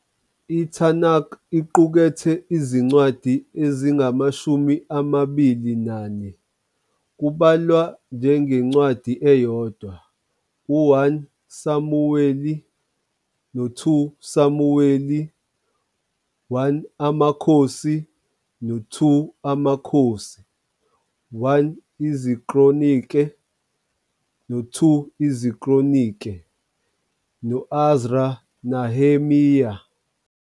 ITanakh iqukethe izincwadi ezingamashumi amabili nane, kubalwa njengencwadi eyodwa u-1 Samuweli no-2 Samuweli, 1 Amakhosi no-2 AmaKhosi, 1 IziKronike no-2 IziKronike, no- Ezra - Nehemiya.